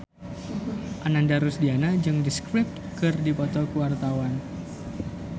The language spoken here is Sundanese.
Ananda Rusdiana jeung The Script keur dipoto ku wartawan